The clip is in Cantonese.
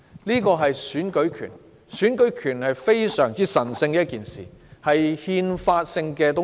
然而，選舉權是一件非常神聖的東西，也是憲法性的東西。